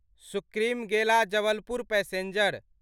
सुप्रीमगेला Jabalpur passenger